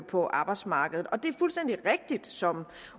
på arbejdsmarkedet det er fuldstændig rigtigt som